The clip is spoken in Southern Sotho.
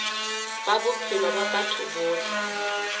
ba bophelo ba batho bohle